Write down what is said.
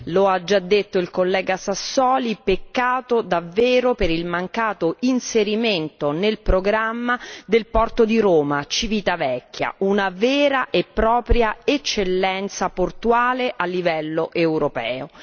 Come già affermato dal collega Sassoli, ritengo davvero un peccato il mancato inserimento nel programma del porto di Roma Civitavecchia, una vera e propria eccellenza portuale a livello europeo.